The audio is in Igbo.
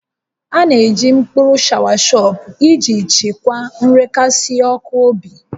A na-eji mkpụrụ shọawashọp iji chịkwaa nrekasị ọkụ obi